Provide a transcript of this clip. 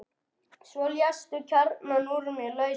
Svo léstu kjarnann úr mér lausan.